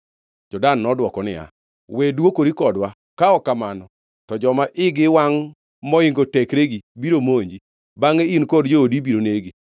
Jo-Dan nodwoko niya, “We dwokori kodwa, ka ok kamano, to joma igi wangʼ moingo tekregi biro monji, bangʼe in kod joodi ibiro negi.”